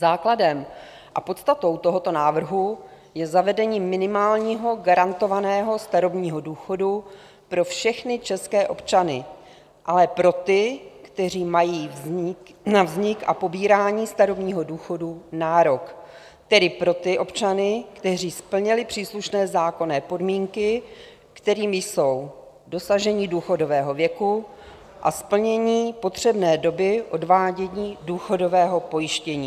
Základem a podstatou tohoto návrhu je zavedení minimálního garantovaného starobního důchodu pro všechny české občany, ale pro ty, kteří mají na vznik a pobírání starobního důchodu nárok, tedy pro ty občany, kteří splnili příslušné zákonné podmínky, kterými jsou dosažení důchodového věku a splnění potřebné doby odvádění důchodového pojištění.